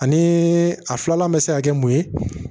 Ani a filanan bɛ se ka kɛ mun ye